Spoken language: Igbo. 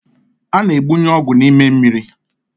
A na-egbunye ọgwụ n’ime mmiri